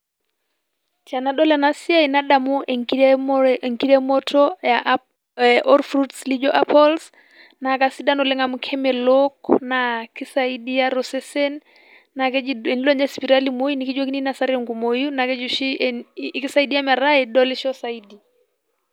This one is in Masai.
Tenadol ena siai nadamu enkiremore enkiremoto olfruits laijo apples naa aisaidai oleng amu kemelok naa keisaidia tolsesen naa tenilo ninye sipati imoi naa kijoki inoso tenkumoi naa keji oshi keisaidia metaa idolisho zaidi.